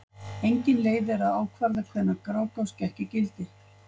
Engin leið er að ákvarða hvenær Grágás gekk í gildi.